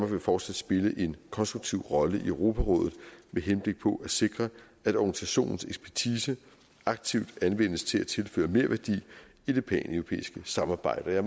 vil fortsat spille en konstruktiv rolle i europarådet med henblik på at sikre at organisationens ekspertise aktivt anvendes til at tilføre merværdi i det paneuropæiske samarbejde